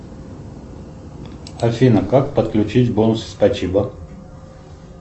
афина как подключить бонусы спасибо